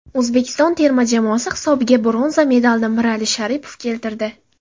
O‘zbekiston terma jamoasi hisobiga bronza medalini Mirali Sharipov keltirdi.